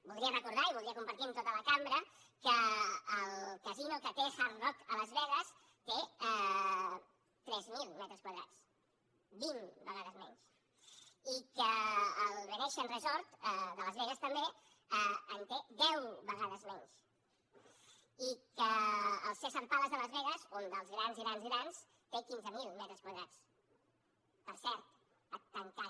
voldria recordar i voldria compartir amb tota la cambra que el casino que té hard rock a las vegas té tres mil metres quadrats vint vegades menys i que el venetian resort de las vegas també en té deu vegades menys i que el caesars palace de las vegas un dels grans grans grans té quinze mil metres quadrats per cert ha tancat